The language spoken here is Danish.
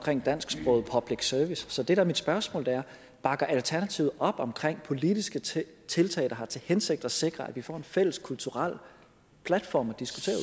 dansksproget public service så det der er mit spørgsmål er bakker alternativet op om politiske tiltag der har til hensigt at sikre at vi får en fælles kulturel platform